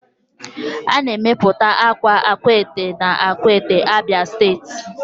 A na-emepụta akwa Akwete na akwete, abia steeti